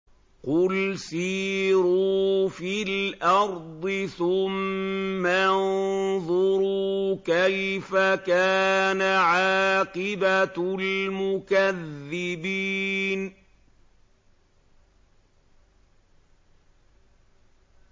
قُلْ سِيرُوا فِي الْأَرْضِ ثُمَّ انظُرُوا كَيْفَ كَانَ عَاقِبَةُ الْمُكَذِّبِينَ